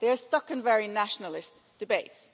They are stuck in very nationalist debates.